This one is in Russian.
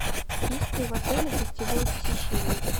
есть ли в отеле гостевое посещение